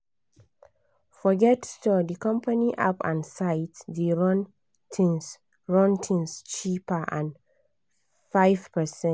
forget store di company app and site dey run things run things cheaper by 5%."